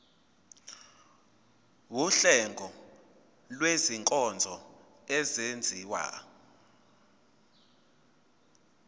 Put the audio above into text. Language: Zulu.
wuhlengo lwezinkonzo ezenziwa